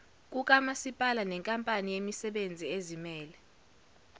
kukamasipala nenkampani yemisebenziezimele